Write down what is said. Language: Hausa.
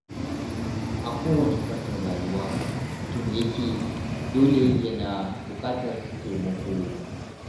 A kowane fannin rayuwa mutum yake, dole yana buƙatar taimako.